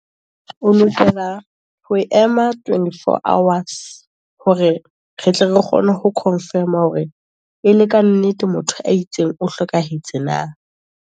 O lokela ho ema twenty four hours, hore re tle re kgone ho confirm-a, hore e le ka nnete motho a itseng o hlokahetse na.